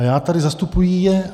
A já tady zastupuji je.